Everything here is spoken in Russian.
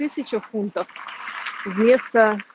тысяча фунтов вместо